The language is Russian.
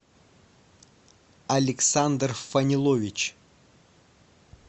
александр фанилович